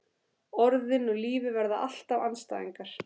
Orðin og lífið verða alltaf andstæðingar.